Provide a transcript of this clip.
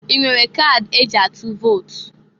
I nwere kadi e ji atụ vot?